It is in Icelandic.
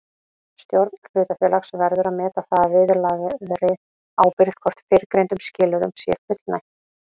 Stjórn hlutafélags verður að meta það að viðlagðri ábyrgð hvort fyrrgreindum skilyrðum sé fullnægt.